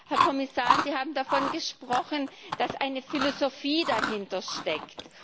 Herr Kommissar, Sie haben davon gesprochen, dass eine Philosophie dahintersteckt.